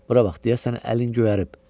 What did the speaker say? Bura bax, deyəsən əlin göyərib.